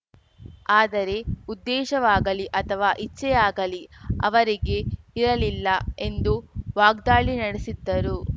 ಆದರೆ ಉದ್ದೇಶವಾಗಲಿ ಅಥವಾ ಇಚ್ಛೆಯಾಗಲಿ ಅವರಿಗೆ ಇರಲಿಲ್ಲ ಎಂದು ವಾಗ್ದಾಳಿ ನಡೆಸಿದ್ದರು